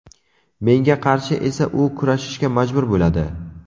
Menga qarshi esa u kurashishga majbur bo‘ladi.